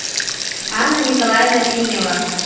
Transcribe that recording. анна николаевна финева